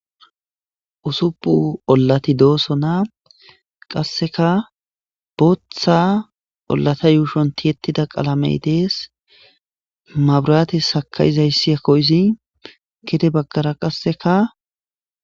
usuppu ollati dooso naa qasseka bootha ollata yuushon tiyettida qalamey dees maburaate sakayizayssi ekoyizi kite baggara qasseka